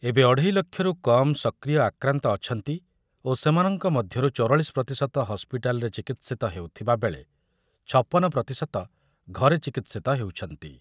ଏବେ ଅଢ଼େଇ ଲକ୍ଷରୁ କମ୍ ସକ୍ରିୟ ଆକ୍ରାନ୍ତ ଅଛନ୍ତି ଓ ସେମାନଙ୍କ ମଧ୍ୟରୁ ଚୌରାଳିଶ ପ୍ରତିଶତ ହସ୍ପିଟାଲରେ ଚିକିତ୍ସିତ ହେଉଥିବାବେଳେ ଛପନ ପ୍ରତିଶତ ଘରେ ଚିକିତ୍ସିତ ହେଉଛନ୍ତି ।